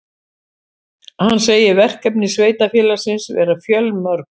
Hann segir verkefni sveitarfélagsins vera fjölmörg